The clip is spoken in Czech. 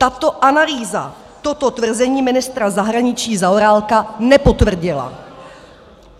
Tato analýza toto tvrzení ministra zahraničí Zaorálka nepotvrdila.